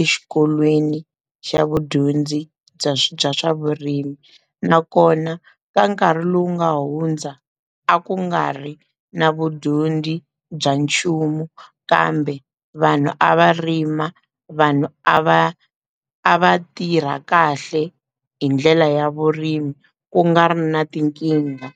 exikolweni xa vudyondzi bya bya swa vurimi nakona ka nkarhi lowu nga hundza a ku nga ri na vudyondzi bya nchumu kambe vanhu a va rima vanhu a va a va tirha kahle hi ndlela ya vurimi ku nga ri na tinkingha.